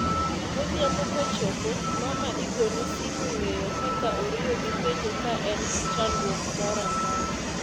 Godhiambo kochopo, mama igone simu ng'eyo kaka oriyo gi penjo ka en chandruok mora mora